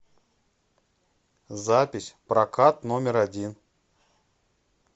запись прокат номер один